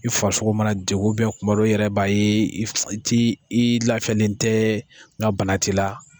I farisogo mana degun kuma dɔw i yɛrɛ b'a i ti i lafiyalen tɛ nga bana ti la.